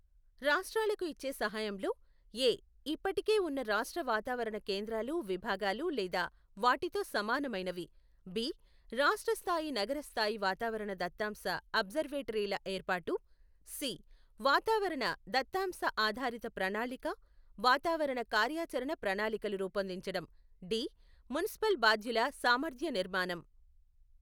రాష్ట్రాలకు ఇచ్చే సహాయంలో, ఏ, ఇప్పటికే ఉన్న రాష్ట్ర వాతావరణ కేంద్రాలు విభాగాలు లేదా వాటితో సమానమైనవి, బి, రాష్ట్ర స్థాయి నగర స్థాయి వాతావరణ దత్తాంశ అబ్జర్వేటరీల ఏర్పాటు, సి, వాతావరణ దత్తాంశ ఆధారిత ప్రణాళిక, వాతావరణ కార్యాచరణ ప్రణాళికలు రూపొందించటం, డి, మున్సిపల్ బాధ్యుల సామర్థ్య నిర్మాణం.